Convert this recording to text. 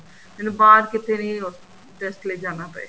ਮੈਨੂੰ ਬਾਹਰ ਕਿੱਥੇ ਵੀ test ਲਈ ਜਾਣਾ ਪਏ